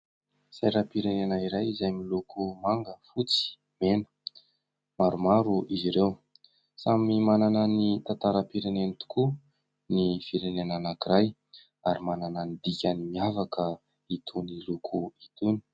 Sainam-pirenena iray izay miloko manga, fotsy, mena. Maromaro izy ireo samy manana ny tantaram-pirenena tokoa ny firenena anankiray ary manana ny dikany miavaka itony loko itony.